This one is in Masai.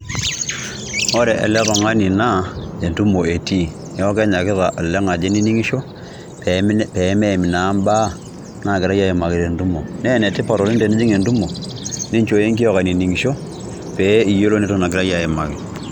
Ore ele oltungani naa endumo eti ewaak enye ake olengaji iningisho pee meiim inabaa naa kerayai aimaki endumo. Naa oletipat oleng' tenijing endumo ninjoo engiok ainingisho pee iyolo naigira aimaki